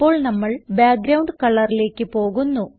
ഇപ്പോൾ നമ്മൾ ബാക്ക്ഗ്രൌണ്ട് colorലേക്ക് പോകുന്നു